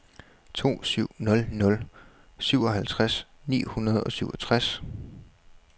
to syv nul nul syvoghalvtreds ni hundrede og syvogtres